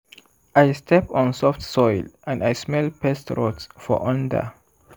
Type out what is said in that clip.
i step on soft soil and i smell pest rot for under.